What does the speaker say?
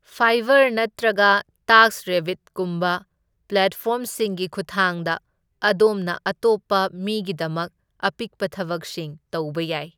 Fibre ꯅꯠꯇ꯭ꯔꯒ ꯇꯥꯛꯁꯔꯦꯕꯕꯤꯠꯀꯨꯝꯕ ꯄ꯭ꯂꯦꯠꯐꯣꯔꯝꯁꯤꯡꯒꯤ ꯈꯨꯠꯊꯥꯡꯗ, ꯑꯗꯣꯝꯅ ꯑꯇꯣꯞꯄ ꯃꯤꯒꯤꯗꯃꯛ ꯑꯄꯤꯛꯄ ꯊꯕꯛꯁꯤꯡ ꯇꯧꯕ ꯌꯥꯏ꯫